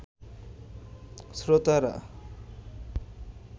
শ্রোতারা